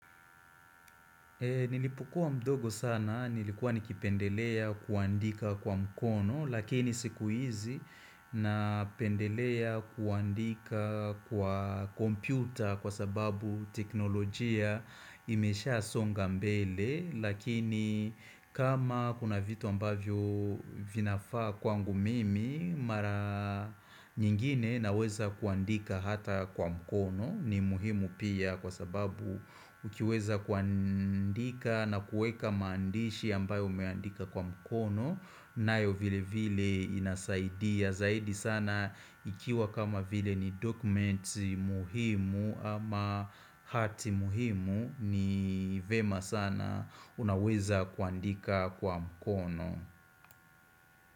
Nilipokuwa mdogo sana, nilikuwa nikipendelea kuandika kwa mkono, lakini siku hizi napendelea kuandika kwa kompyuta kwa sababu teknolojia imesha songa mbele, Lakini kama kuna vitu ambavyo vinafaa kwangu mimi Mara nyingine naweza kuandika hata kwa mkono, ni muhimu pia kwa sababu ukiweza kuandika na kuweka maandishi ambayo umeandika kwa mkono nayo vile vile inasaidia zaidi sana ikiwa kama vile ni document muhimu ama hati muhimu, ni vyema sana unaweza kuandika kwa mkono.